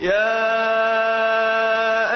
يَا